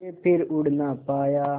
के फिर उड़ ना पाया